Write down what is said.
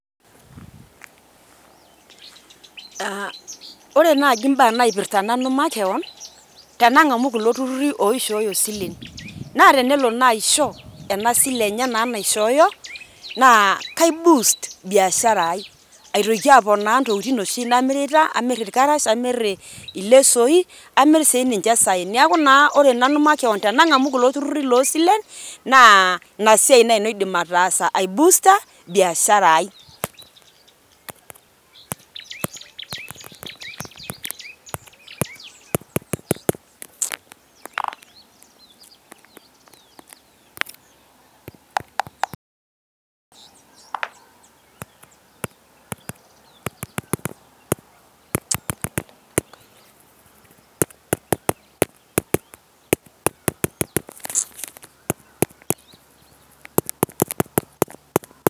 aa ore naji mbaa naipirta nanu makewon tenangamu, tenangamu kulo tururi oishooyo isilen ,naa tenelo naisho ena sile naa enye naishooyo naa kai boost biashara ai.kaitoki aponaa nbtokitin oshi namirita ,amir irkarash, amir ilesoi, amir sininche isaen . neaku naa ore nanu makewon tenangamu kulo tururi loo silen naa ina siai naji aidim ataasa ai booster biashara ai